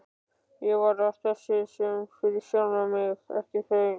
Ég var að þessu fyrir sjálfan mig, ekki þau.